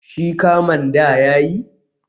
Shi kaman da ya yi?